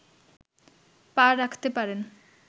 পা রাখতে পারেন